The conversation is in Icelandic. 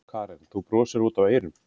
Karen: Þú brosir út af eyrum?